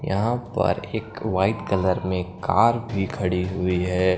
यहां पर एक वाइट कलर में कार भी खड़ी हुई है।